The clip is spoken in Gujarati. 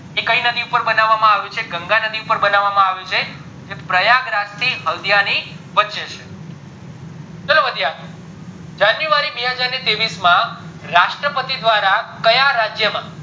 એ કય નદી પર બનાવામાં આવ્યું છે એ ગંગા નદી પર બનાવામાં આવ્યું છે જે પ્રયાગ રાજ થી હલ્દીયાની ની વચે છે ચલો વધીએ આગળ january બેહજાર ને ત્રેવીસ માં રાષ્ટ્ર પતિ દ્વારા ક્યાં રાજ્ય માં